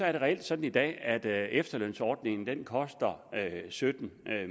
er reelt sådan i dag at efterlønsordningen koster sytten